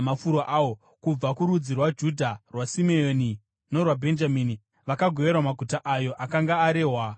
Kubva kurudzi rwaJudha, rwaSimeoni norwaBhenjamini vakagoverwa maguta ayo akanga arehwa namazita.